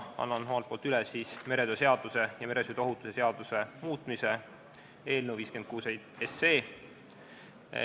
Annan ülevaate meretöö seaduse ja meresõiduohutuse seaduse muutmise seaduse eelnõust 56.